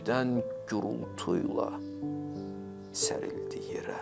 Birdən gurultuyla sərildi yerə.